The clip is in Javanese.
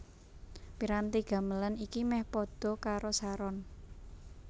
Piranti gamelan iki meh padha karo saron